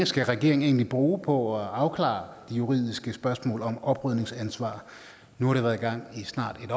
skal regeringen egentlig bruge på at afklare de juridiske spørgsmål om oprydningsansvar nu har det været i gang i snart et